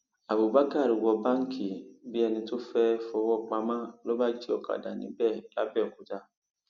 abubakar wọ báǹkì bíi ẹni tó fẹẹ fọwọ pamọ ló bá jí òkàdá níbẹ làbẹòkúta